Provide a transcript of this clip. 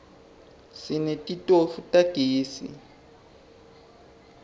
sinetitofu tagezi